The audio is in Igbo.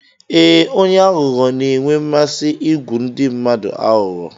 Ee, onye aghụghọ na-enwe mmasị igwu ndị mmadụ aghụghọ.